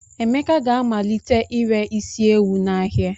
Emeka ga-amalite ire isi ewu n'ahịa.